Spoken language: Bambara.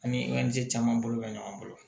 An ni caman bolo bɛ ɲɔgɔn bolo